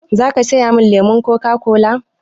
Za ka saya min lemon Coca-cola?